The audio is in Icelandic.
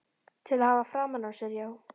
Til að hafa framan á sér, já.